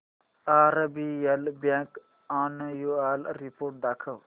RBL bank annual report दाखव